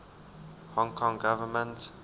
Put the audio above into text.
hong kong government